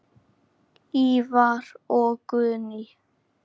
Ívar og Guðný.